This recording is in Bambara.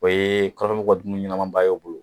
O ye kɔrɔnfɛ mɔgɔw ka dumuni ɲɛnaman ba y'o bolo.